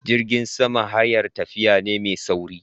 jirgin sama hayar tafiya ne mai sauri.